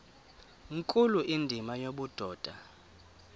nkulu indima yobudoda